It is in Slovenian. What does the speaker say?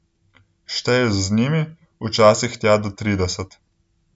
Šteješ z njimi, včasih tja do trideset.